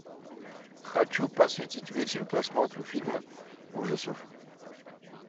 хочу посвятить вечер просмотру фильма ужасов